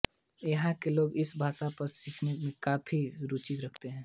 यहाँ के लोग इस भाषा को सीखने में काफ़ी रुचि रखते हैं